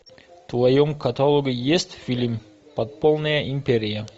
в твоем каталоге есть фильм подпольная империя